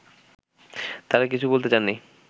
তারা কিছু বলতে চাননি